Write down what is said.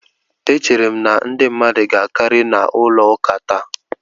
E chere m na ndị mmadu ga akari n'ulo ụka taa